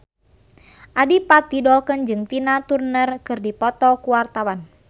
Adipati Dolken jeung Tina Turner keur dipoto ku wartawan